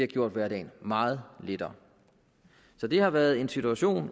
gjort hverdagen meget lettere så det har været en situation